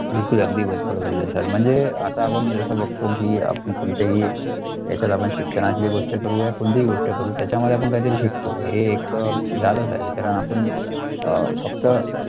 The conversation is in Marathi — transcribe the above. बिलकुल अगदी बरोबर बोलले sir म्हणजे आता आपण जसं बघतो की आपण कोणतेही याच्यात आपण शिक्षणातली गोष्ट करू या कोणतीही गोष्ट करू त्याच्यामध्ये आपण काहीतरी शिकतो हे एक लालच आहे कारण आपण अं फक्त